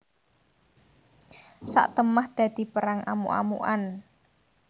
Satemah dadi perang amuk amukan